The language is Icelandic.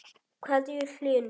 kveðja, Hlynur.